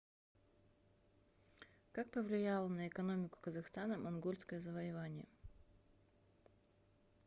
как повлияло на экономику казахстана монгольское завоевание